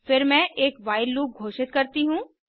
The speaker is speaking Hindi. फिर मैं एक व्हाइल लूप घोषित करती हूँ